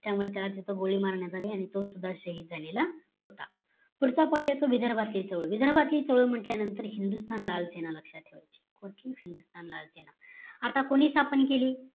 त्या वेळी त्यांना गोळी मारण्यात अली आणि तो सुद्धा शाहिद झालेला होता पुढचा point येतो विदर्भातील चळवळ विदर्भातील चळवळ म्हण्टल्यानंतर हिंदुस्थान लाल सेना लक्ष्यात ठेवायची OKAY हिंदुस्थान लाल सेने आता कोणी स्थापन केली